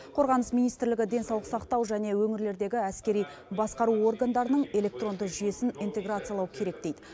қорғаныс министрлігі денсаулық сақтау және өңірлердегі әскери басқару органдарының электронды жүйесін интеграциялау керек дейді